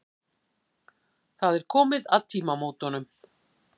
Það er komið að tímamótunum.